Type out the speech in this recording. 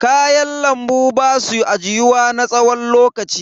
Kayan lambu basu ajiyuwa na tsawon lokaci.